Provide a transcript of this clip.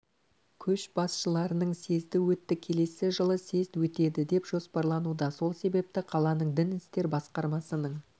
көшбасшыларының съезді өтті келесі жылы съезд өтеді деп жоспарлануда сол себепті қаланың дін істері басқармасының